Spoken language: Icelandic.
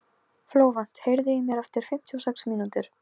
Flóvent, heyrðu í mér eftir fimmtíu og sex mínútur.